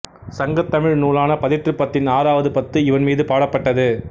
சங்கத் தமிழ் நூலான பதிற்றுப்பத்தின் ஆறாவது பத்து இவன் மீது பாடப்பட்டது